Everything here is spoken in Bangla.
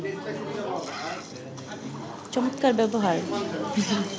চমৎকার ব্যবহার